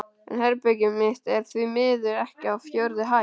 En herbergið mitt er því miður uppi á fjórðu hæð.